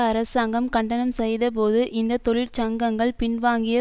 அரசாங்கம் கண்டனம் செய்த போது இந்த தொழிற்சங்கங்கள் பின்வாங்கிய